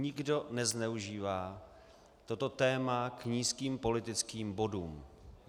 Nikdo nezneužívá toto téma k nízkým politickým bodům.